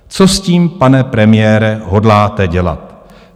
Co s tím, pane premiére, hodláte dělat?